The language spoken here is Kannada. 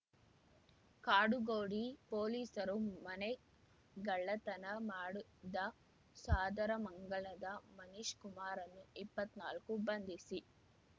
ಕಾಡುಗೋಡಿ ಪೊಲೀಸರು ಮನೆಗಳ್ಳತನ ಮಾಡಿದ್ದ ಸಾದರಮಂಗಲದ ಮನೀಶ್ ಕುಮಾರ ಇಪ್ಪತ್ನಾಲ್ಕನ್ನು ಬಂಧಿಸಿ